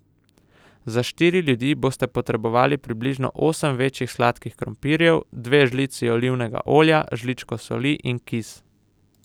Za štiri ljudi boste potrebovali približno osem večjih sladkih krompirjev, dve žlici olivnega olja, žličko soli in kis.